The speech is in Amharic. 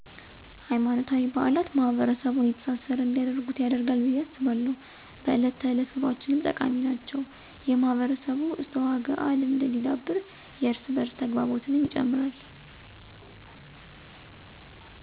ሀይማኖታዊ በአላት ማሕበረሰቡን የተሳሰረ እንዲያደርጉት ያደርጋል ብየ አስባለሁ። በእለት ተዕለት ኑኖአችንም ጠቃሚ ናቸው የማህበረሰቡ እስትዐወግዐልማድ እንዲዳብር የእርስ በዕርስ ተግባቦትንም ይጨምራል።